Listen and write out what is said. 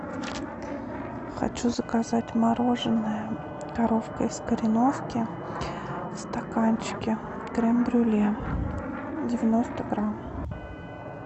хочу заказать мороженное коровка из кореновки в стаканчике крем брюле девяносто грамм